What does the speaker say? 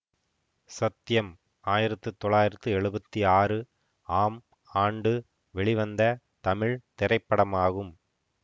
சத்யம் ஆயிரத்தி தொள்ளாயிரத்தி எழுவத்தி ஆறு ஆம் ஆண்டு வெளிவந்த தமிழ் திரைப்படமாகும்